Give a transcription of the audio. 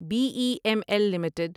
be E M L limited